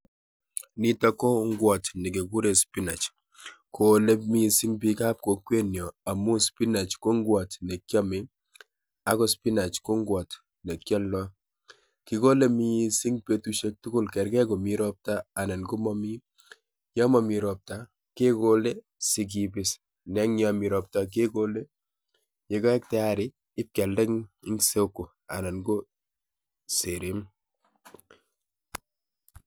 Nitok ko ngwot nekigure spinach. Kole missing biikab kokwenyo amu spinach ko ngwot nekiame ago spinach ko nwot nekialdoi. Kigole missing betushek tugul kergei komi robta anan komomi. Yo momi robta kegole sikibis, neng yo mi robta kegole, yekaek tayari ibkealde eng soko anan ko Serem.